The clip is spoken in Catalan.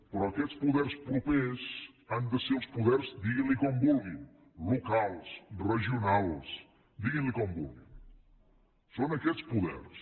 però aquests poders propers han de ser els poders diguin ne com vulguin locals regionals diguin ne com vulguin són aquests poders